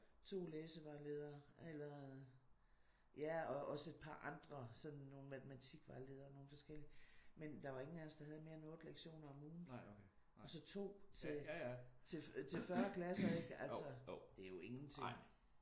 2 læsevejledere eller ja og også et par andre sådan nogle matematikvejledere og nogle forskellige. Men der var ikke nogen af os der havde mere end 8 lektioner om ugen. Så 2 til 40 klasser det er jo ingenting